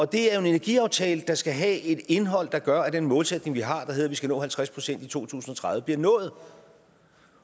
det er jo en energiaftale der skal have et indhold der gør at den målsætning vi har der hedder at vi skal nå halvtreds procent i to tusind og tredive bliver nået